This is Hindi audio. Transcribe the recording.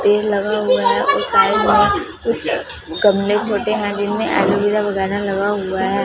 पेड़ लगा हुआ है और साइड में कुछ गमले छोटे हैं जिनमे एलमीरा वगैरा लगा हुआ हैं।